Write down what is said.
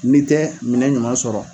N'i tɛ minɛ ɲuman sɔrɔ